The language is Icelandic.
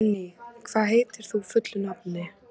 Benný, hvað heitir þú fullu nafni?